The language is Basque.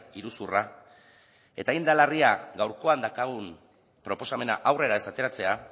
iruzurra eta hain da larria gaurkoan daukagun proposamena aurrera ez ateratzea